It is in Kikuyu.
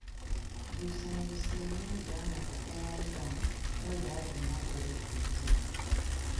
ngucanio cia meli ya maguta ya Iran no ĩrathiĩ na mbere na kũingĩha